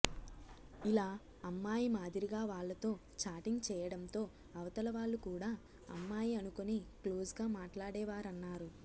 ఇలా అమ్మాయి మాదిరిగా వాళ్లతో చాటింగ్ చేయడంతో అవతల వాళ్లు కూడా అమ్మాయి అనుకొని క్లోజ్గా మాట్లాడేవారన్నారు